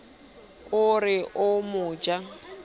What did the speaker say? a re o mo ja